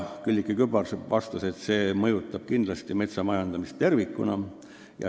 Külliki Kübarsepp vastas, et see mõjutab kindlasti metsa majandamist tervikuna.